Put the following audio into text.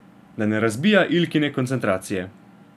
Da ne razbija Ilkine koncentracije.